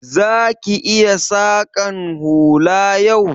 Za ki iya saƙan hula yau?